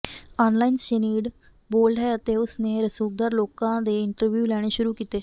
online Sinead bold ਹੈ ਅਤੇ ਉਸ ਨੇ ਰਸੂਖ਼ਦਾਰ ਲੋਕਾਂ ਦੇ ਇੰਟਰਵਿਊ ਲੈਣੇ ਸ਼ੁਰੂ ਕੀਤੇ